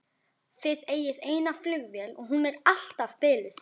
Þið eigið eina flugvél og hún er alltaf biluð!